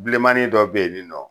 Biilenmani dɔ be yen nin nɔ